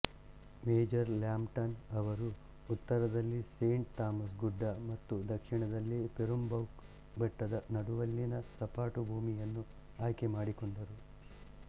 major Lambton ಅವರು ಉತ್ತರದಲ್ಲಿ Saint Thomas ಗುಡ್ಡ ಮತ್ತು ದಕ್ಷಿಣದಲ್ಲಿ ಪೆರುಂಬೌಕ್ ಬೆಟ್ಟದ ನಡುವಲ್ಲಿನ ಸಪಾಟು ಭೂಮಿಯನ್ನು ಆಯ್ಕೆಮಾದಿಕೊಂಡರು